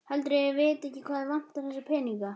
Heldurðu að ég viti ekki að þig vantar þessa peninga?